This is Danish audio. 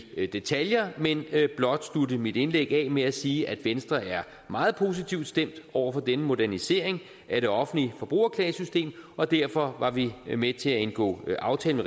detaljer men vil blot slutte mit indlæg af med at sige at venstre er meget positivt stemt over for denne modernisering af det offentlige forbrugerklagesystem og derfor var vi med til at indgå aftalen